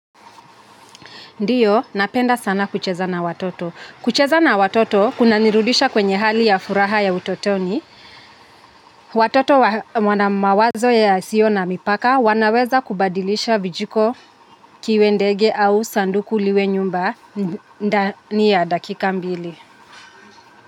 Ndiyo, napenda sana kucheza na watoto. Kucheza na watoto, kunanirudisha kwenye hali ya furaha ya utotoni. Watoto wana mawazo yasio na mipaka, wanaweza kubadilisha kijiko kiwe ndege au sanduku liwe nyumba ni ya dakika mbili.